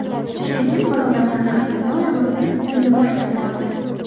Sherigim bir odamdan qarzimni olamiz deb meni boshlab bordi.